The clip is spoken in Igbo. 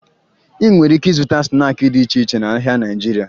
Ị nwere ike ịzụta snaakị dị iche iche n'ahịa Naịjirịa